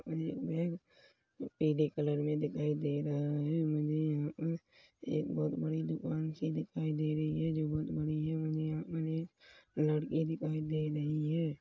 मुझे एक पीले कलर में दिखाई दे रहा है मुझे यहाँ पर एक बहुत बड़ी दुकान सी दिखाई दे रही है जो बहुत बढ़िया-बढ़िया मुझे लड़की दिखाई दे रही है।